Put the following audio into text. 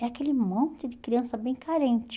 É aquele monte de criança bem carente.